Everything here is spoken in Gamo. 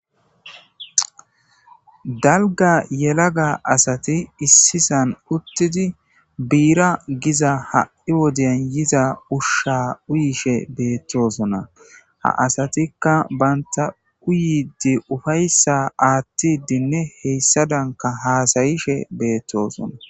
Dalga yelaga asati issisan uttidi biira giza ha'i wodeyan yiza ushsha uyishe beettosona ha asatikka banta uyidi ufayssa aattidinne heyssadanka haasayishe beettoosona.